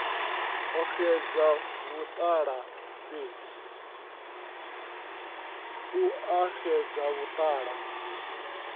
u a xedza vhuṱala fhedzi